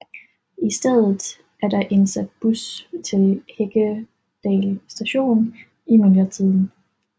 I stedet er der indsat bus til Heggedal Station i myldretiden